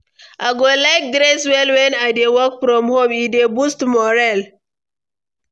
I go like dress well wen I dey work from home; e dey boost morale.